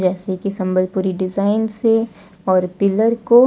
जैसे कि संबलपुरी डिजाइन से और पिलर को--